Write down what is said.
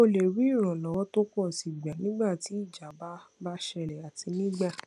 o lè rí ìrànlọwọ tó pọ sí i gbà nígbà tí ìjábá bá ṣẹlè àti nígbà